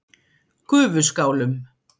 Gufuskálum